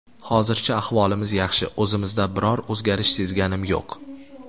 Hozircha ahvolimiz yaxshi, o‘zimizda biror o‘zgarish sezganimiz yo‘q.